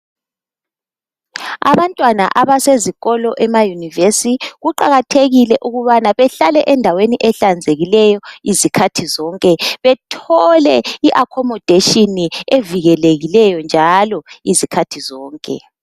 Abantwana abasezikolo emayunivesi kuqakathekile ukubana behlale endaweni ehlanzekileyo izikhathi zonke, bethole i"accommodation" evikelekileyo njalo izikhathi zonke.